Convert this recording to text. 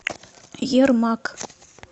ермак